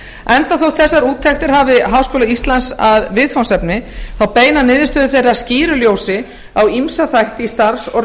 enda þótt þessar úttektir hafi háskóla íslandi að viðfangsefni beina niðurstöður þeirra skýru ljósi á ýmsa þætti í starfs og